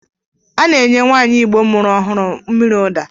A na-enye nwanyi igbo muru ohuru mmiri Uda.